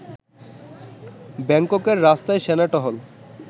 ব্যাংককের রাস্তায় সেনা টহল